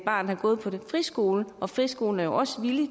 har gået på en friskole og friskolen er jo også villig